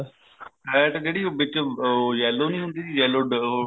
fat ਜਿਹੜੀ ਉਹ ਵਿੱਚ yellow ਨਹੀਂ ਹੁੰਦੀ yellow ਉਹ